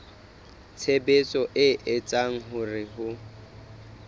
tshebetso e etsang hore ho